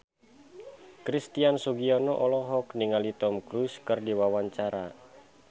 Christian Sugiono olohok ningali Tom Cruise keur diwawancara